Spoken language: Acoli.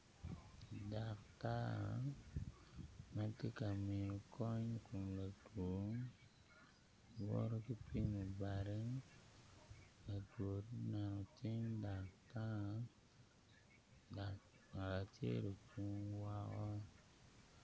Daktar matye ka miyo kony ikom latwo woto ki pimo bade latwo omako cing daktar dok ngat acel ocung woko